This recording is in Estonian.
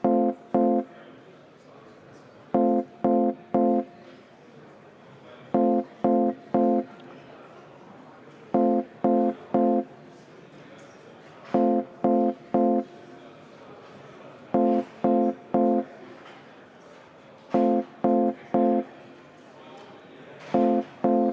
Hääletustulemused Poolt on 55 Riigikogu liiget, vastu 44, erapooletuid ei ole.